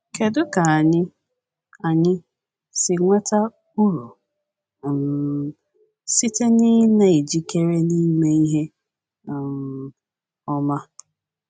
Kedu ka anyị anyị si nweta uru um site n’ị na - ejikere na ime ihe um ọma?